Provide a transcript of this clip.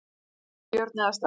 Sveinbjörn eða Stella.